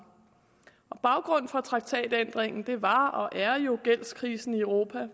baggrunden fra traktatændringen var og er jo gældskrisen i europa